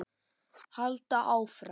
Halda áfram.